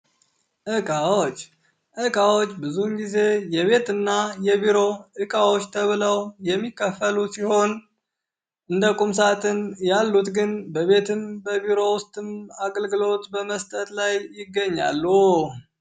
እቃዎች እቃዎች ብዙውን ጊዜ የቤትና የቢሮ እቃዎች ተብለው የሚከፈሉ ሲሆን እንደ ቁምሳጥን ያሉት ግን በቤትም በቢሮ ውስጥም አልግሎት በመስጠት ይታወቃሉ።